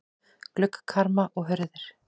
Gluggakarma og hurðir.